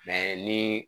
ni